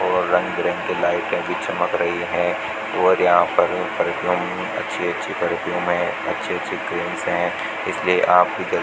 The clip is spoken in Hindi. और रंग बिरंगी लाइटें भी चमक रही है और यहां पर एक दम अच्छी अच्छी खिड़कियां हैं अच्छी अच्छी फिल्म्स हैं इसलिए आप भी कभी --